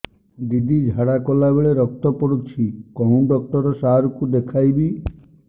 ଦିଦି ଝାଡ଼ା କଲା ବେଳେ ରକ୍ତ ପଡୁଛି କଉଁ ଡକ୍ଟର ସାର କୁ ଦଖାଇବି